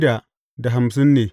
Yawan mutanen sashensa ne.